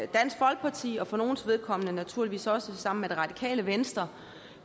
dansk folkeparti og for nogles vedkommende naturligvis også sammen med det radikale venstre